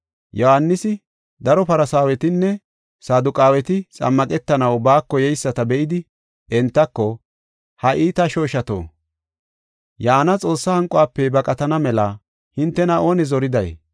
Yohaanisi, daro Farsaawetinne Saduqaaweti xammaqetanaw baako yeyisata be7idi, entako, “Ha iita shooshato, yaana Xoossaa hanquwafe baqatana mela hintena oone zoriday?